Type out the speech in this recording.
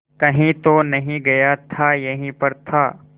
कहीं तो नहीं गया था यहीं पर था